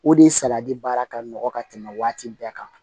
O de salati baara ka nɔgɔn ka tɛmɛ waati bɛɛ kan